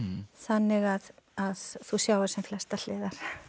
þannig að þú sjáir sem flestar hliðar